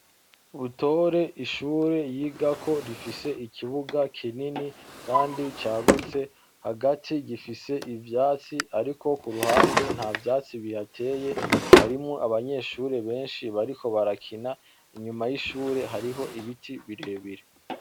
Butore ishure yigako rifise ikibuga kinini kandi cagutse, hagati gifise ivyatsi ariko kuruhande ntavyatsi bihateye, harimwo abanyeshure benshi bariko barakina. Inyuma y'ishure hariho ibiti birebire.